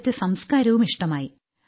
അവിടത്തെ സംസ്ക്കാരവും ഇഷ്ടമായി